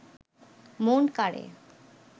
মন কাড়ে